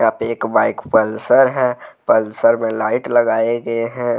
एक bike Pulsar है। Pulsar में लाइट लगाए गए हैं।